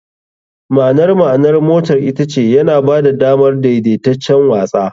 . Ma'anar ma'anar motar ita ce "yana ba da damar daidaitaccen watsa.